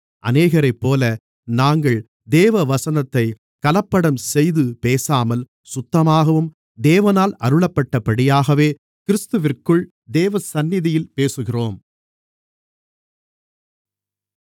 அநேகரைப்போல நாங்கள் தேவவசனத்தைக் கலப்படம் செய்து பேசாமல் சுத்தமாகவும் தேவனால் அருளப்பட்டபடியாகவே கிறிஸ்துவிற்குள் தேவசந்நிதியில் பேசுகிறோம்